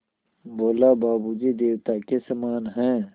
बोला बाबू जी देवता के समान हैं